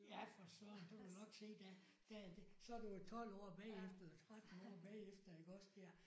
Ja for Søren du vil jo nok se der der er det så er du jo 12 år bagefter eller 13 år bagefter iggås der